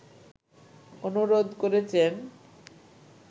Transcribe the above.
অনুরোধ করেছেন